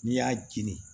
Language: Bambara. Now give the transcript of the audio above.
N'i y'a jeni